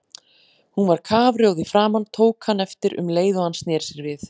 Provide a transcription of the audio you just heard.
Hún var kafrjóð í framan, tók hann eftir um leið og hann sneri sér við.